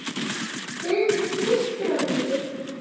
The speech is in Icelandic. Friðrik treysti honum ekki.